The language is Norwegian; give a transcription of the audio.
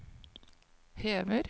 hever